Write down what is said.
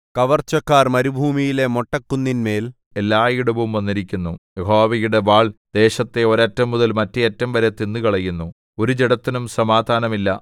കവർച്ചക്കാർ മരുഭൂമിയിലെ മൊട്ടക്കുന്നിന്മേൽ എല്ലായിടവും വന്നിരിക്കുന്നു യഹോവയുടെ വാൾ ദേശത്തെ ഒരറ്റംമുതൽ മറ്റേഅറ്റം വരെ തിന്നുകളയുന്നു ഒരു ജഡത്തിനും സമാധാനം ഇല്ല